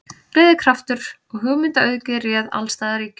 Gleði, kraftur og hugmyndaauðgi réð alls staðar ríkjum.